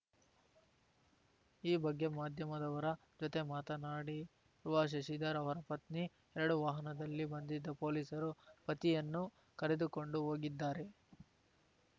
ಈ ಬಗ್ಗೆ ಮಾಧ್ಯಮದವರ ಜೊತೆ ಮಾತನಾಡಿವ ಶಶಿಧರ್‌ ಅವರ ಪತ್ನಿ ಎರಡು ವಾಹನದಲ್ಲಿ ಬಂದಿದ್ದ ಪೊಲೀಸರು ಪತಿಯನ್ನು ಕರೆದುಕೊಂಡು ಹೋಗಿದ್ದಾರೆ